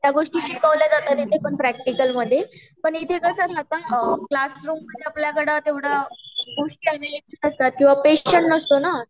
त्या गोष्टी शिकवल्या जातात आणि ते पण प्रक्टीकॅल मध्ये पण इथे कस राहत क्लासरूम आहे न आपल्याकडे तेवढ गोष्टी एवेलेबल नसतात किवहा पेशंट नसतो ना